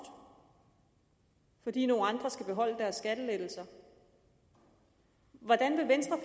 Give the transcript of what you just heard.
fordi nogle andre skal beholde deres skattelettelser hvordan vil venstre